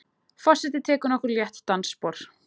Forsetinn tekur nokkur létt dansspor.